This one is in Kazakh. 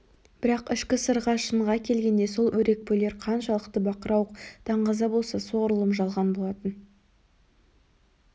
бірақ ішкі сырға шынға келгенде сол өрекпулер қаншалық бақырауық даңғаза болса солғұрлым жалған болатын